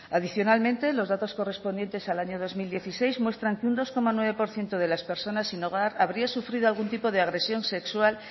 adicionalmente los datos correspondientes al año dos mil dieciséis muestran que un dos coma nueve por ciento de las personas sin hogar habría sufrido algún tipo de agresión sexual